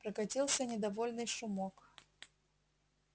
прокатился недовольный шумок